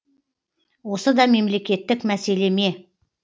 осы да мемлекеттік мәселе ме